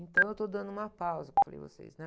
Então, eu estou dando uma pausa, como eu falei a vocês, né?